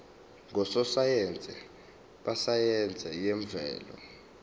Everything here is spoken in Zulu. ngososayense besayense yemvelo